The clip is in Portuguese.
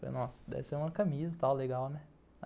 Falei, nossa, deve ser uma camisa e tal, legal, né?